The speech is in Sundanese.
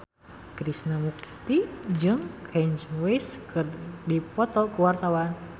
Krishna Mukti jeung Kanye West keur dipoto ku wartawan